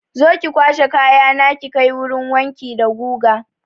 Zo ki kwashe kayana ki kai wurin wanki da guga!